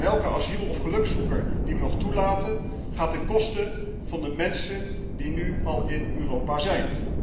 En elke asiel of gelukszoeker die wij nog toelaten, gaat ten koste van de mensen die nu al in Europa zijn.